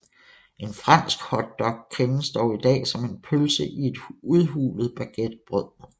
En fransk hotdog kendes dog i dag som en pølse i et udhulet baguettebrød